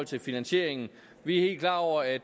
til finansieringen vi er helt klar over at